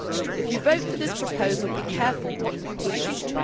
If you vote for this proposal, be careful what you wish for.